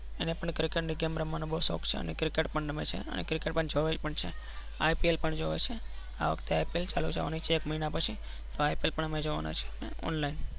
અને પણ game રમવાનો બાઉં જ શોખ છે. અને cricket રકમે છે. અ ને cricket રમે પણ રમે છે cricket જોવે છે ipl પણ જોવે છે. આવખતે ipl ચાલુ થવાની છે. એક મહિના પછી અમેં પણ જોવા ના છીએ online